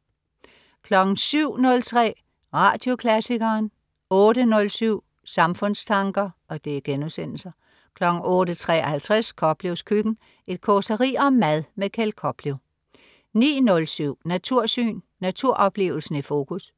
07.03 Radioklassikeren* 08.07 Samfundstanker* 08.53 Koplevs køkken. Et causeri om mad. Kjeld Koplev 09.07 Natursyn. Naturoplevelsen i fokus